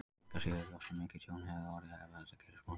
Engu að síður er ljóst að mikið tjón hefði orðið ef þetta gerist.